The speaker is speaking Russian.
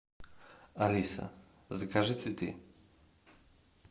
алиса закажи цветы